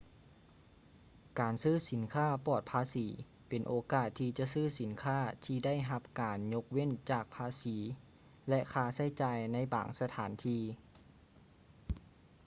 ການຊື້ສິນຄ້າປອດພາສີເປັນໂອກາດທີ່ຈະຊື້ສິນຄ້າທີ່ໄດ້ຮັບການຍົກເວັ້ນຈາກພາສີ ແລະ ຄ່າໃຊ້ຈ່າຍໃນບາງສະຖານທີ່